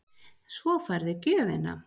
Svo færðu gjöfina.